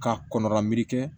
Ka kɔn lan kɛ